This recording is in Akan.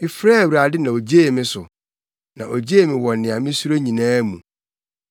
Mefrɛɛ Awurade na ogyee me so; na ogyee me wɔ nea misuro nyinaa mu.